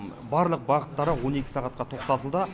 барлық бағыттары он екі сағатқа тоқтатылды